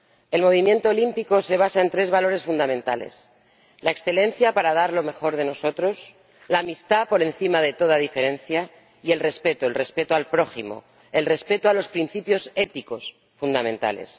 El movimiento olímpico se basa en tres valores fundamentales la excelencia para dar lo mejor de nosotros, la amistad por encima de toda diferencia y el respeto ―el respeto al prójimo, el respeto a los principios éticos fundamentales―.